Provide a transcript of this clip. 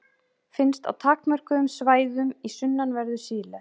Finnst á takmörkuðum svæðum í sunnanverðu Síle.